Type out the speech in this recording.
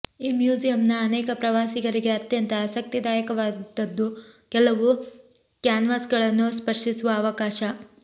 ಈ ಮ್ಯೂಸಿಯಂನ ಅನೇಕ ಪ್ರವಾಸಿಗರಿಗೆ ಅತ್ಯಂತ ಆಸಕ್ತಿದಾಯಕವಾದದ್ದು ಕೆಲವು ಕ್ಯಾನ್ವಾಸ್ಗಳನ್ನು ಸ್ಪರ್ಶಿಸುವ ಅವಕಾಶ